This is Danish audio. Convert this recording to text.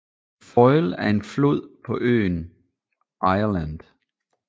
Foyle er en flod på øen Irland